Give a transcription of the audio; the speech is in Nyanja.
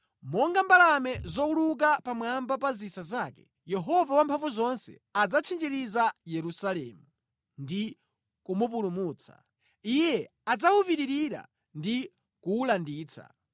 Monga mbalame zowuluka pamwamba pa zisa zake, Yehova Wamphamvuzonse adzatchinjiriza Yerusalemu; ndi kumupulumutsa, iye adzawupitirira ndi kuwulanditsa.”